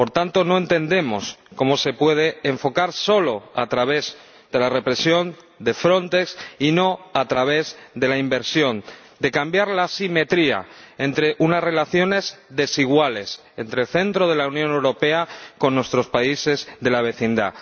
Por tanto, no entendemos cómo esta cuestión se puede enfocar solo a través de la represión, de Frontex, y no a través de la inversión, de un cambio en la asimetría entre unas relaciones desiguales entre el centro de la Unión Europea y nuestros países de la vecindad.